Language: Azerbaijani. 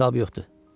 Say hesab yoxdur.